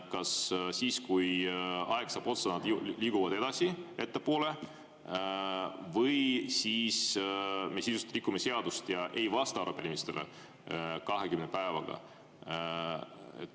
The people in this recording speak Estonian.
Kas siis, kui aeg saab otsa, nad liiguvad ettepoole või siis me rikume seadust ja ei vasta arupärimistele 20 päevaga?